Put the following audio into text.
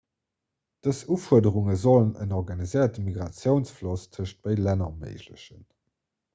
dës ufuerderunge sollen en organiséierte migratiounsfloss tëschent béide länner erméiglechen